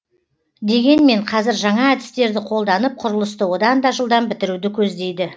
дегенмен қазір жаңа әдістерді қолданып құрылысты одан да жылдам бітіруді көздейді